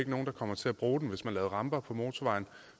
nogen der kommer til at bruge den hvis man laver ramper på motorvejen